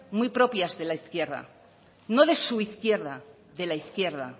muy propias de la izquierda no de su izquierda de la izquierda